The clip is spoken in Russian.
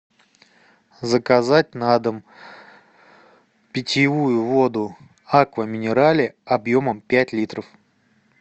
заказать на дом питьевую воду аква минерале объемом пять литров